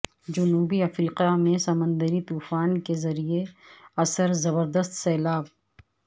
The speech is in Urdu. جنوبی افریقہ میں سمندری طوفان کے زیراثر زبردست سیلاب